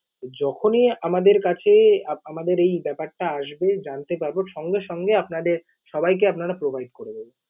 যখনই আমাদের কাছে, আমাদের এই ব্যাপারটা আসবে, জানতে পারব, সঙ্গে সঙ্গে আপনাদের সবাইকে আমরা provide করে দেব।